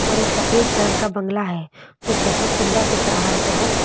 और एक सफेद कलर का बंगला है जो बहुत सुंदर दिख रहा है बहुत सुंदर--